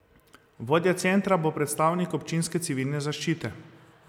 Vodja centra bo predstavnik občinske civilne zaščite.